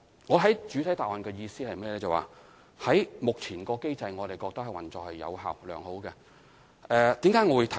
我在主體答覆的意思是，我們認為目前的機制運作有效、良好。